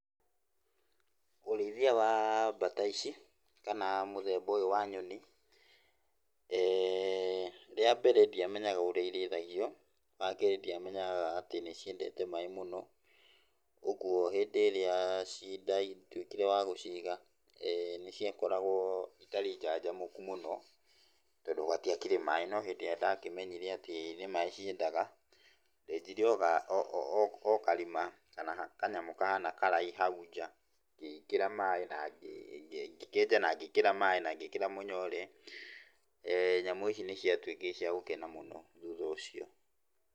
Ũrĩithia wa bata ici, kana mũthemba ũyũ wa nyoni, rĩambere ndiamenyaga ũrĩa irĩithagio. Wakerĩ ndiamenyaga atĩ nĩciendete maĩ mũno, ũguo hĩndĩ ĩrĩa ci ndatuĩkire wa gũciga, nĩciakoragwo itarĩ njanjamũku mũno, tondũ gũtiakĩrĩ maĩ, no hĩndĩ ĩrĩa ndakĩmenyire atĩ nĩ maĩ ciendaga, ndenjire o karima kana kanyamũ kahana karaĩ hau nja, ngĩkĩra maĩ, na ngĩkĩenja na ngĩkĩra maĩ na ngĩkĩra mũnyore. Nyamũ ici nĩciatuĩkire cia gũkena mũno thutha ũcio.